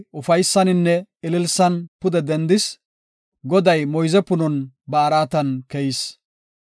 Xoossay ufaysaninne ililsan pude dendis, Goday moyze punon ba araatan keyis.